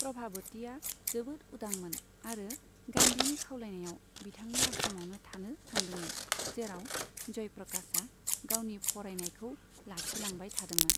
प्रभाबतीआ जोबोद उदांमोन आरो गान्धीनि खावलायनायाव, बिथांनि आश्रमाव थानो थांदोंमोन, जेराव जयप्रकाशआ गावनि फरायनायखौ लाखिलांबाय थादोंमोन।